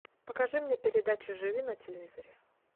покажи мне передачу живи на телевизоре